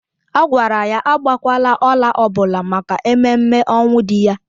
A gwara ya agbakwala ọla ọbụla maka ememme ọnwụ di ya